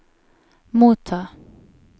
motta